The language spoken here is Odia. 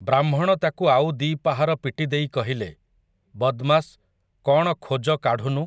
ବ୍ରାହ୍ମଣ ତାକୁ ଆଉ ଦି'ପାହାର ପିଟିଦେଇ କହିଲେ, ବଦମାସ୍, କ'ଣ ଖୋଜ କାଢ଼ୁ ନୁ ।